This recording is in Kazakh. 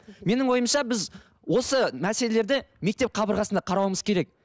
менің ойымша біз осы мәселелерді мектеп қабырғасында қарауымыз керек